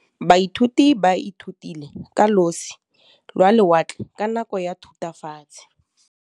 Baithuti ba ithutile ka losi lwa lewatle ka nako ya Thutafatshe.